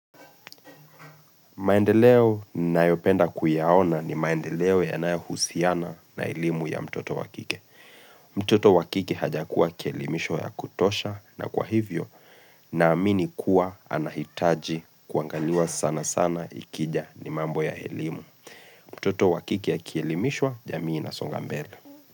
Maendeleo ninayopenda kuyaona ni maendeleo yanae husiana na elimu ya mtoto wa kike. Mtoto wa kike haja kuwa kielimishwa ya kutosha na kwa hivyo na amini kuwa anahitaji kuangaliwa sana sana ikija ni mambo ya elimu. Mtoto wa kike akielimishwa, jamii inasonga mbele.